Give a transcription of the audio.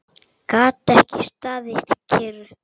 Gat ekki staðið kyrr.